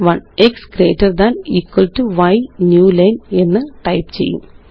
x greater than equal to y new line എന്ന് type ചെയ്യാം